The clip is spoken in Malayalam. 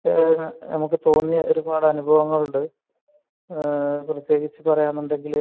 നമുക്ക് തോന്നിയ ഒരുപാട് അനുഭവങ്ങൾ ഉണ്ട് പ്രത്യേകിച്ച് പറയുകയാണെങ്കിൽ